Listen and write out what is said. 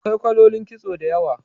Akwai kalolin kitso da yawa